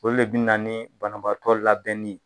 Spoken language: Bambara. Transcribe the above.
O le bɛ na ni banabaatɔ labɛnni ye.